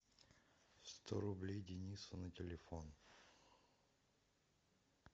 сто рублей денису на телефон